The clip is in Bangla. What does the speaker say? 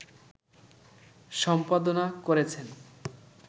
সম্পাদনা করেছেন